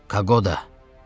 Kagoda.